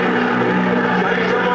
Heydər!